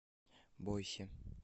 бойсе